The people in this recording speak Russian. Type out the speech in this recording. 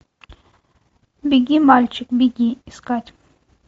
беги мальчик беги искать